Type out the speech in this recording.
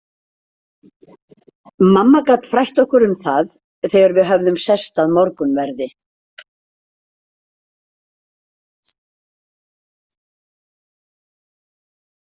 Mamma gat frætt okkur um það þegar við höfðum sest að morgunverði.